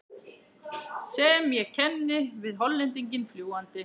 sem ég kenni við Hollendinginn fljúgandi.